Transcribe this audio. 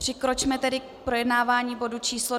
Přikročme tedy k projednávání bodu číslo